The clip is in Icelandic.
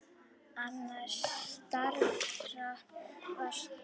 Annars staðar var slökkt.